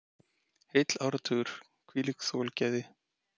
Heill áratugur, hvílíkt þolgæði.